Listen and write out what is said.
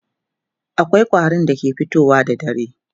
akwai ƙwarin da ke fitowa da dare